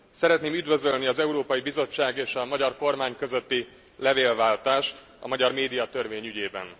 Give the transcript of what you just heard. Szeretném üdvözölni az Európai Bizottság és a magyar kormány közötti levélváltást a magyar médiatörvény ügyében.